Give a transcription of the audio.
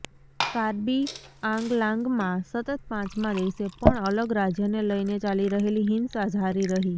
કાર્બી આંગલાંગમાં સતત પાંચમા દિવસે પણ અલગ રાજ્યને લઇને ચાલી રહેલી હિંસા જારી રહી